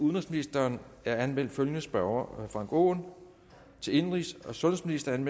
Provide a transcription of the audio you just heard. udenrigsministeren er anmeldt følgende spørgere frank aaen til indenrigs og sundhedsministeren